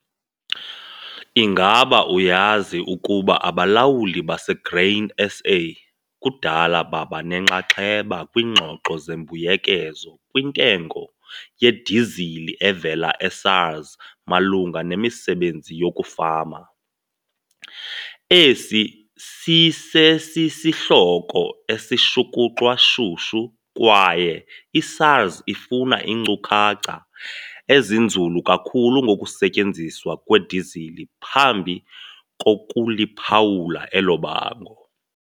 Ingaba uyazi ukuba abalawuli baseGrain SA kudala baba nenxaxheba kwiingxoxo zembuyekezo kwintengo yedizili evela eSARS malunga nemisebenzi yokufama? Esi sisesisihloko esishukuxwa shushu kwaye iSARS ifuna iinkcukacha ezinzulu kakhulu ngokusetyenziswa kwedizili phambi kokuliphawula elo bango.